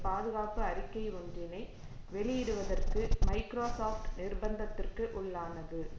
பாதுகாப்பு அறிக்கை ஒன்றினை வெளியிடுவதற்கு மைக்ரோசொப்ட் நிர்ப்பந்தத்திற்குள்ளானது